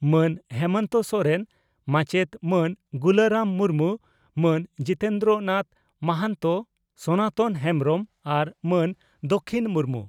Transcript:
ᱢᱟᱹᱱ ᱦᱮᱢᱚᱱᱛᱚ ᱥᱚᱨᱮᱱ, ᱢᱟᱪᱮᱛ ᱢᱟᱱ ᱜᱩᱞᱟᱨᱟᱢ ᱢᱩᱨᱢᱩ, ᱢᱟᱹᱱ ᱡᱤᱛᱮᱱᱫᱨᱚᱱᱟᱛᱷ ᱢᱚᱦᱟᱱᱛᱚ, ᱥᱚᱱᱟᱛᱚᱱ ᱦᱮᱸᱢᱵᱽᱨᱚᱢ ᱟᱨ ᱢᱟᱹᱱ ᱫᱟᱹᱠᱷᱤᱱ ᱢᱩᱨᱢᱩ ᱾